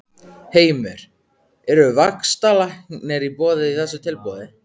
Heimir: Eru vaxtalækkanir í boði í þessu tilboði?